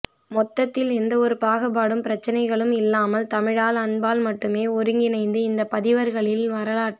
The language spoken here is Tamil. மொத்தத்தில் எந்த ஒரு பாகுபாடும் பிரச்சனைகளும் இல்லாமல் தமிழால் அன்பால் மட்டுமே ஒருங்கிணைந்து இந்த பதிவர்களின் வரலாற்றில்